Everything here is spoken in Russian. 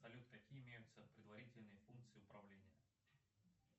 салют какие имеются предварительные функции управления